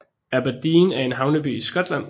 Aberdeen er en havneby i Skotland